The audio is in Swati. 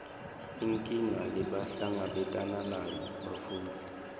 inkinga lebahlangabetana nayo bafundzi